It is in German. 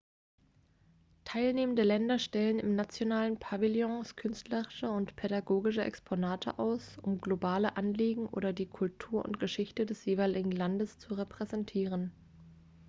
teilnehmende länder stellen in nationalen pavillons künstlerische und pädagogische exponate aus um globale anliegen oder die kultur und geschichte des jeweiligen landes zu präsentieren